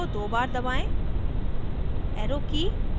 arrow की को दो बार दबाएं